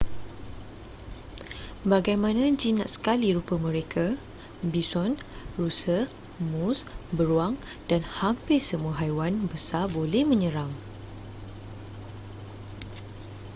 bagaimana jinak sekali rupa mereka bison rusa moose beruang dan hampir semua haiwan besar boleh menyerang